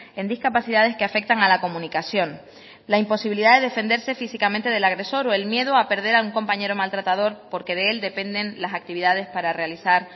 en discapacidades que afectan a la comunicación la imposibilidad de defenderse físicamente del agresor o el miedo a perder a un compañero maltratador porque de él dependen las actividades para realizar